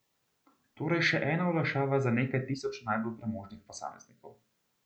Torej še ena olajšava za nekaj tisoč najbolj premožnih posameznikov.